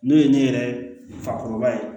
N'o ye ne yɛrɛ fakɔrɔba ye